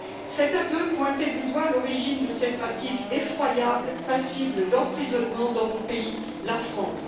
Cet aveu pointait du doigt l'origine de ces pratiques effroyables, passibles d'emprisonnement dans mon pays, la France.